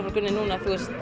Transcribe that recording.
frá grunni